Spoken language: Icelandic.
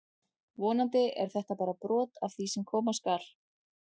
Vonandi er þetta bara brot af því sem koma skal!